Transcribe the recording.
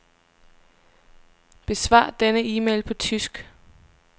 Besvar denne e-mail på tysk.